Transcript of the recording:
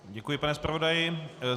Děkuji, pane zpravodaji.